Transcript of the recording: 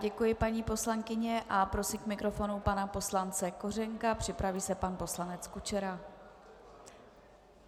Děkuji, paní poslankyně, a prosím k mikrofonu pana poslance Kořenka, připraví se pan poslanec Kučera.